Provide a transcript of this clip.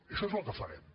això és el que farem